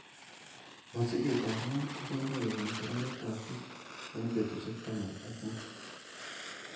Mosiget ab goo koboiboenyin konoretab buch en betusiek taman ak mut.